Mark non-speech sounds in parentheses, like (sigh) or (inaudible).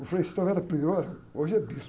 O Frei (unintelligible) era prior, hoje é bispo.